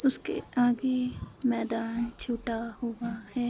उसके आगे मैदान छूटा हुआ है।